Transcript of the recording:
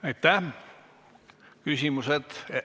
Aitäh!